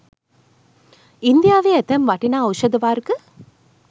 ඉන්දියාවේ ඇතැම් වටිනා ඖෂධ වර්ග